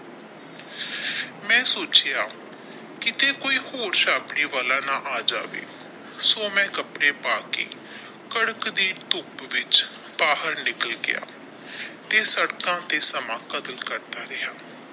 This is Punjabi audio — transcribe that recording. ਮੈ ਸੋਚਿਆ ਕਿੱਤੇ ਕੋਈ ਹੋਰ ਵਾਲਾ ਨਾ ਆ ਜਾਵੇ ਸੋ ਮੈਂ ਕੱਪੜੇ ਪਾ ਕੇ ਕੜਕ ਦੀ ਧੁੱਪ ਵਿੱਚ ਬਾਹਰ ਨਿਕਲ ਗਿਆ ਤੇ ਸੜਕਾਂ ਤੇ ਸਮਾਂ ਕਰਦਾ ਰਿਹਾ।